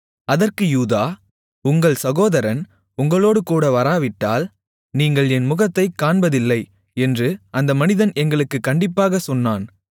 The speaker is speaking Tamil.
அதற்கு யூதா உங்கள் சகோதரன் உங்களோடுகூட வராவிட்டால் நீங்கள் என் முகத்தைக் காண்பதில்லை என்று அந்த மனிதன் எங்களுக்குக் கண்டிப்பாகச் சொன்னான்